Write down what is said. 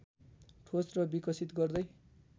ठोस र विकसित गर्दै